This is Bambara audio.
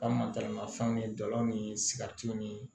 An mataramafɛnw ni dalaw ni sigɛritiw ni